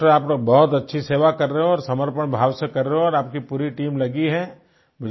चलिए डॉक्टर आप तो बहुत अच्छी सेवा कर रहे हो और समर्पण भाव से कर रहे हो और आपकी पूरी टीम लगी है